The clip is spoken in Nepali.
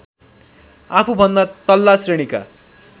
आफूभन्दा तल्ला श्रेणीका